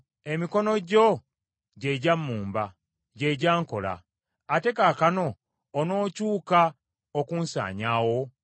“Emikono gyo gye gyammumba, gye gyankola. Ate kaakano onookyuka okunsanyaawo?